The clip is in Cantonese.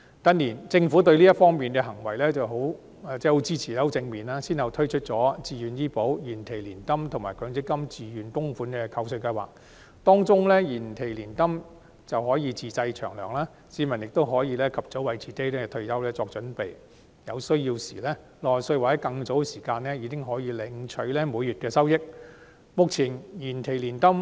近年，政府對這方面的建議很支持，反應亦很正面，先後推出自願醫保計劃、延期年金計劃及強制性公積金可扣稅自願供款的計劃，當中的延期年金計劃可供自製"長糧"，市民可及早為退休作準備，有需要時可在60歲或更早時間領取每月收益。